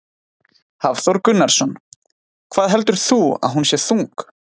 Hafþór Gunnarsson: Hvað heldur þú að hún sé þung?